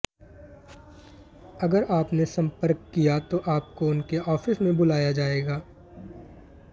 अगर आप ने संपर्क किया तो आपको उनके आफीस मे बुलाया जाएगा